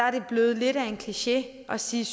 er blevet lidt af en kliché at sige